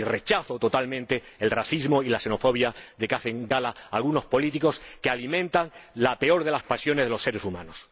Y rechazo totalmente el racismo y la xenofobia de que hacen gala algunos políticos, que alimentan la peor de las pasiones de los seres humanos.